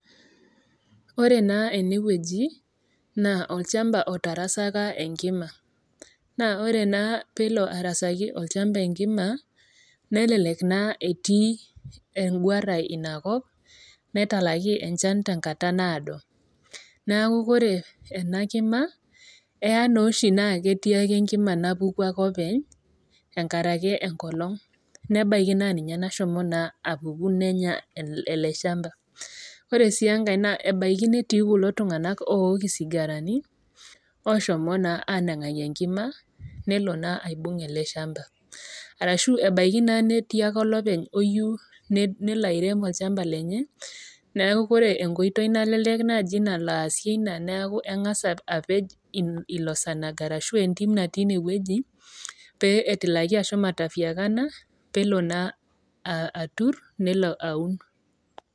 Ore naa ene wueji naa olchamba otarasaka enkima, naa ore naa peelo arasaki olchamba enkima, nelelek naa etii engwarai Ina kop netalaki enchan tenkata naado, neaku ore ena kima, elo naa oshiake netii enkima napuku ake openy enkaraki enkolong', nebaiki naa ninye nashomo naa apuku nenya ele chamba. Ore sii enkai naa ebaiki netii kulo tung'ana ook isigarani, oshomo naa anangaki enkima , nelo naa aibung' ele shamba . Arashu etii naake olopeny oyou nelo airem olchamba lenye, neaku ore enkoitoi naalelek naaji naasie Ina naa engas apej ilo sanag arashu entim natii ine wueji pee etilaki ashomo atafuakana, peelo naa atur, neelo aun .